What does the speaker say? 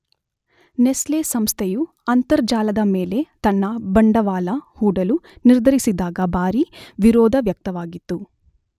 Nestle ಸಂಸ್ಥೆಯು ಅಂತರ್ಜಾಲದ ಮೇಲೆ ತನ್ನ ಬಂಡವಾಳ ಹೂಡಲು ನಿರ್ಧರಿಸಿದಾಗ ಭಾರಿ ವಿರೋಧ ವ್ಯಕ್ತವಾಗಿತ್ತು